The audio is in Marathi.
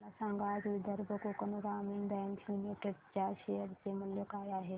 मला सांगा आज विदर्भ कोकण ग्रामीण बँक लिमिटेड च्या शेअर चे मूल्य काय आहे